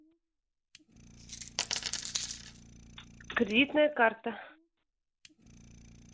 кредитная карта